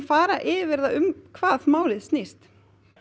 fara yfir um hvað málið snýst